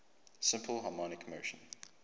simple harmonic motion